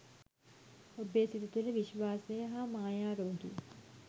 ඔබේ සිත තුළ විශ්වාසය හා මායා රෝගී